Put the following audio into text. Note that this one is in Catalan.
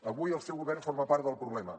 avui el seu govern forma part del problema